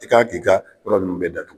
I kan k'i ka yɔrɔ ninnu bɛɛ datugu.